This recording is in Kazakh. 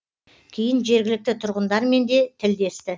кейін жергілікті тұрғындармен де тілдесті